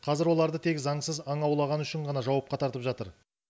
қазір оларды тек заңсыз аң аулағаны үшін ғана жауапқа тартып жатыр